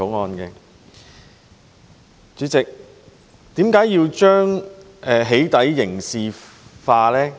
代理主席，為何要將"起底"刑事化呢？